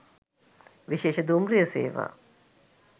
විශේෂ දුම්රිය සේවා